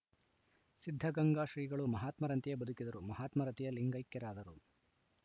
ಸಿದ್ಧಗಂಗಾ ಶ್ರೀಗಳು ಮಹಾತ್ಮರಂತೆಯೇ ಬದುಕಿದರು ಮಹಾತ್ಮರಂತೆಯೇ ಲಿಂಗೈಕ್ಯರಾದರು